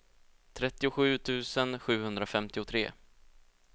trettiosju tusen sjuhundrafemtiotre